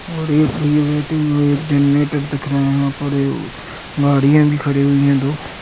और एक पहिया एक जनेटेर दिख रहा है यहाँ पर ओ- गाड़ीयां भी खड़ी हुई हैं दो।